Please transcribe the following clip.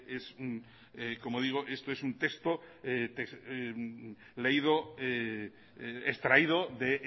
este es como digo esto es un texto leído extraído de